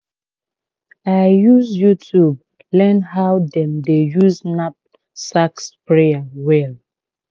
i use youtube learn how dem dey use knapsack sprayer well